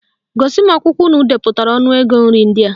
Gosi m akwụkwọ unu depụtara ọnụ ego nri ndị a